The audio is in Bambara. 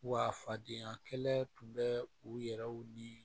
Wa fadenya kelen bɛ u yɛrɛw ni